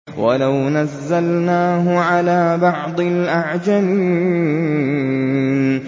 وَلَوْ نَزَّلْنَاهُ عَلَىٰ بَعْضِ الْأَعْجَمِينَ